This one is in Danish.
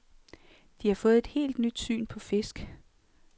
De har fået et helt nyt syn på fisk.